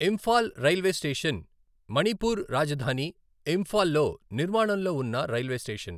Imphal railway station, Manipur రాజధాని ఇంఫాల్ లో నిర్మాణంలో ఉన్న రైల్వే స్టేషన్.